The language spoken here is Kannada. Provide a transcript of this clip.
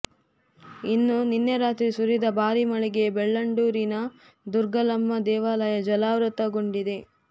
ಇನ್ನು ನಿನ್ನೆ ರಾತ್ರಿ ಸುರಿದ ಭಾರೀ ಮಳೆಗೆ ಬೆಳ್ಳಂಡೂರಿನ ದುಗ್ಗಲಮ್ಮ ದೇವಾಲಯ ಜಲಾವೃತಗೊಂಡಿದೆ